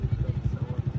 sağ ol getdi, sağ ol